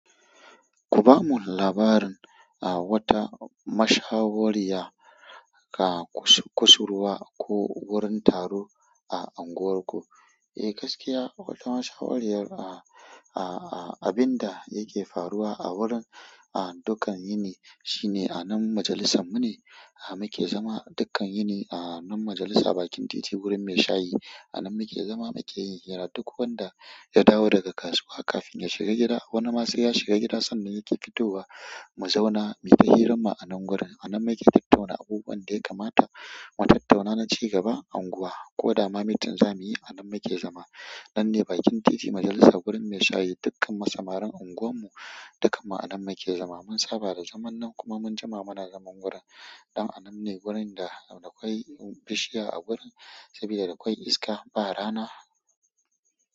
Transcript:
Ku bamu labarin a wata mashahuriya a kusurwa ko wurin taro a unguwarku. Eh, gaskiya wata mashahuriyar a, a, a abin da yake faruwa a wurin, a dukkan yini shine anan majalisan mu ne. A muke zama dukkan yini a nan majalisa bakin titi wurin mai shayi. Anan muke zama muke yin hira duk wanda ya dawo daga kasuwa kafin ya shiga gida wani ma sai ya shiga gida sannan yake fitowa mu zauna mu yi ta hirarma anan gurin. Anan muke tattauna abubuwan da ya kamata mu tattauna na ci gaba a anguwa. Ko dama meeting za muyi anan muke zama. Nan ne bakin titi majalisa gurin mai shayi dukkan mu samarin anguwan mu dukkan mu anan muke zama. Mun saba da zaman nan kuma mun jima mana zaman wurin. Dan anan ne gurin da dakwai bishiya a gurin saboda dakwai iska ba rana.